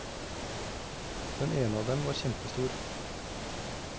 Den ene av dem var kjempestor.